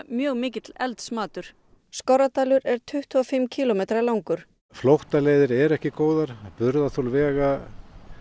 mjög mikill eldsmatur Skorradalur er tuttugu og fimm kílómetra langur flóttaleiðir eru ekki góðar vega